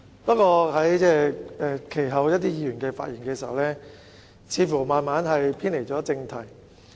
不過，一些議員其後在發言中似乎慢慢偏離正題。